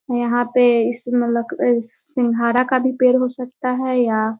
यहाँ पे इस मतलब क सींघाड़ा का भी पेड़ हो सकता है या --